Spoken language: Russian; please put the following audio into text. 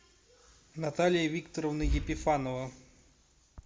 наталья викторовна епифанова